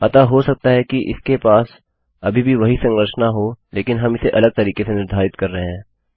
अतः हो सकता है कि इसके पास अभी भी वही संरचना हो लेकिन हम इसे अलग तरीके से निर्धारित कर रहे हैं